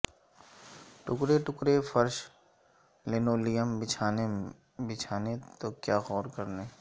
ٹکڑے ٹکڑے فرش لنولیم بچھانے تو کیا غور کرنے